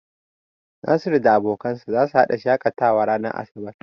Nasir da abokansa zasu hada shakatawa ranar asabar.